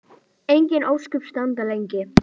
Engin ósköp standa lengi.